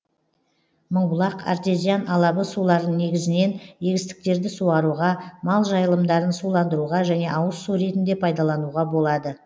мыңбұлақ артезиан алабы суларын негізінен егістіктерді суаруға мал жайылымдарын суландыруға және ауыз су ретінде пайдалануға болады